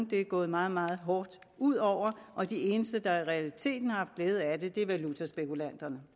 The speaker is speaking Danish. det er gået meget meget hårdt ud over og de eneste der i realiteten har haft glæde af det er valutaspekulanterne